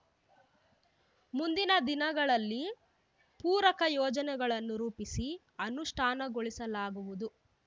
ಮುಂದಿನ ದಿನಗಳಲ್ಲಿ ಪೂರಕ ಯೋಜನೆಗಳನ್ನು ರೂಪಿಸಿ ಅನುಷ್ಠಾನಗೊಳಿಸಲಾಗುವುದು